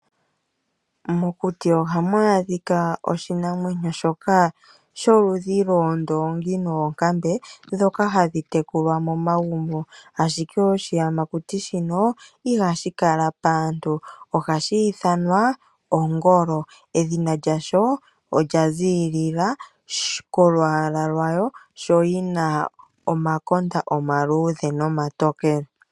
Mokuti ohamu adhika oshinamwenyo shoka sholudhi lwoondongi noonkambe ndhoka hadhi tekulwa momagumbo ashike oshiyamakuti shino ihashi kala paantu ohashi ithanwa ongolo edhina lyasho olya zilila koolwalwa lwayo sho yina omakonda omaludhe nomatokele